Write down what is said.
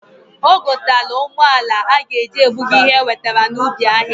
O gotalu ụgbọala a g'eji ebuga ihe ewetara n'ubi ahịa.